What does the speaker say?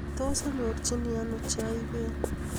Tos anyorchin ano chaiben